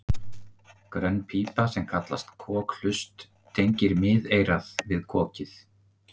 grönn pípa sem kallast kokhlust tengir miðeyrað við kokið